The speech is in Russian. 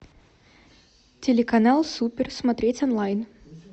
телеканал супер смотреть онлайн